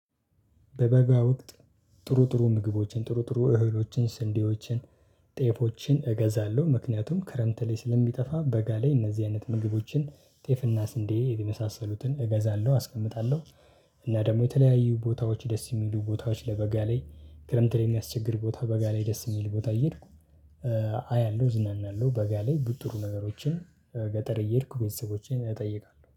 በበጋ ወቅት ጥሩ ጥሩ ምግቦችን ጥሩ ጥሩ እህሎችን ስንዴዎችን ጤፎችን እገዛለሁ ምክንያቱም ክረምት ላይ ስለሚጠፋ በጋ ላይ እነዚህ አይነት ምግቦችን ጤፍና ስንዴ የመሳሰሉትን እገዛለሁ አስቀምጣለሁ። እና ደግሞ የተለያዩ ቦታዎች ደስ የሚሉ ቦታዎች ለበጋ ላይ ክረምት ላይ የሚያስቸግር ቦታ በጋ ላይ ደስ የሚል ቦታ እየሄድኩ አያለሁ እዝናናለሁ። በጋ ላይ ጥሩ ነገሮችን ገጠር እየሄድኩ ቤተሰቦቼን እጠይቃለሁ